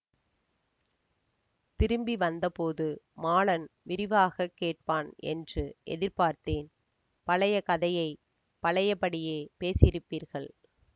திரும்பி வந்தபோது மாலன் விரிவாக கேட்பான் என்று எதிர்பார்த்தேன் பழைய கதையை பழையபடியே பேசியிருப்பீர்கள்